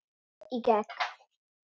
Góður í gegn.